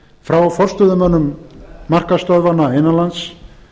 frá forstöðumönnum markaðsstöðvanna innan lands